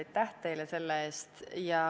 Aitäh teile selle eest!